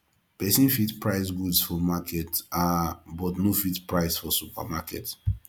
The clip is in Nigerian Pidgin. persin fit price goods for market um but no fit price for supermarket